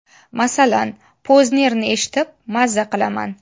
Masalan, Poznerni eshitib maza qilaman.